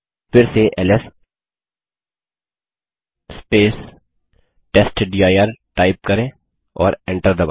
फिर से LS test dir type करें और एंटर दबायें